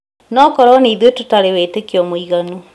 Nokorwo nĩ ithuĩ tũtarĩ wĩtĩkio mũiganu